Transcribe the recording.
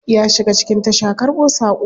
Ya shiga cikin tasha karbo sako.